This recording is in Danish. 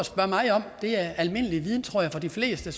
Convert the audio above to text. det er er almindelig viden tror jeg for de fleste